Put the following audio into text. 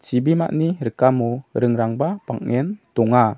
chibimani rikamo ringrangba bang·en donga.